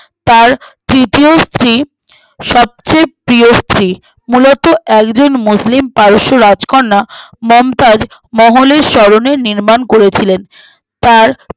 তার তৃতীয় স্ত্রী সবচেয়ে প্রিয় স্ত্রী মূলত alvin মুসলিম পারস্যের রাজকন্যা মমতাজ মহলের স্মরণে নির্মাণ করেছিলেন তার